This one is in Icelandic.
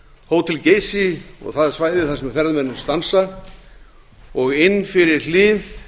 hótel geysi og það svæði þar sem ferðamennirnir stansa og inn fyrir hlið